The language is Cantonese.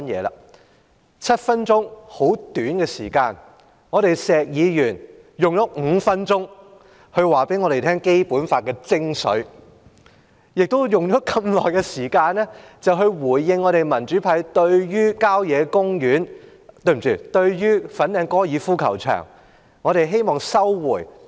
在短短7分鐘的發言時間，石議員用了5分鐘向我們講解《基本法》的精髓，同時回應民主派有關收回粉嶺高爾夫球場的要求。